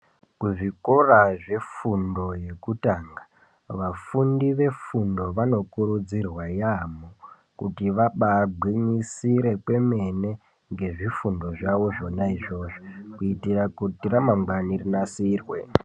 Kuzvikora zvefundo yekutanga, vafundi vefundo vanokurudzirwa yaamho kuti vabaagwinyisire kwemene ngezvefundo zvavo zvona izvozvo, kuitira kuti ramangwani rinasirwe.